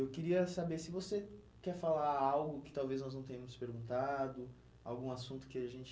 Eu queria saber se você quer falar algo que talvez nós não tenhamos perguntado, algum assunto que a gente